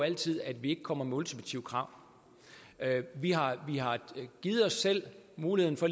altid at vi ikke kommer med ultimative krav vi har givet os selv muligheden for